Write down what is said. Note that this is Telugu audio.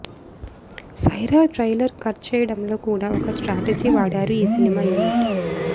సైరా ట్రైలర్ కట్ చెయ్యడంలో కూడా ఒక స్ట్రాటజీ వాడారు ఈ సినిమా యూనిట్